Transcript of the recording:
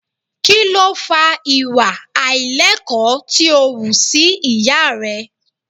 Kí ló fa ìwà àìlẹ́kọ̀ọ́ tí ó wù sí ìyá rẹ?